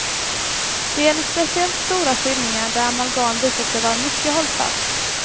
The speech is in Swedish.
Det gäller speciellt stora fyllningar där amalgam visat sig vara mycket hållfast.